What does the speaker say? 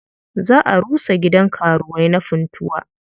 Za a rusa gidan karuwai na Funtuwa.